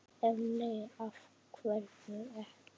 Ef nei, af hverju ekki?